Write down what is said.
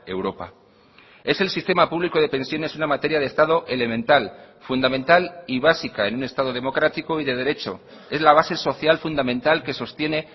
europa es el sistema público de pensiones una materia de estado elemental fundamental y básica en un estado democrático y de derecho es la base social fundamental que sostiene